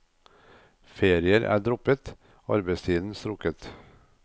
Ferier er droppet, arbeidstiden strukket.